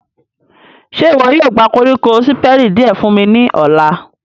Ṣe iwọ yóò gba koriko Siperi diẹ fun mi ni ọla?